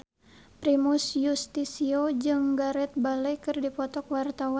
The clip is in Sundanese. Primus Yustisio jeung Gareth Bale keur dipoto ku wartawan